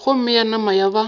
gomme ya nama ya ba